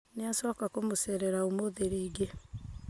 Nĩ acoka kũmũcerera ũmũthĩ rĩngĩ